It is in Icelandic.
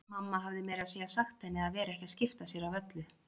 Mamma hafði meira að segja sagt henni að vera ekki að skipta sér af öllu.